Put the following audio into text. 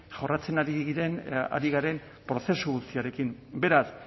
jorratzen ari garen prozesu guzti horrekin beraz